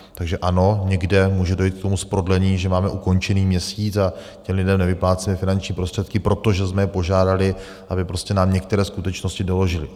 Takže ano, někde může dojít k tomu prodlení, že máme ukončený měsíc a těm lidem nevyplácíme finanční prostředky, protože jsme je požádali, aby nám některé skutečnosti doložili.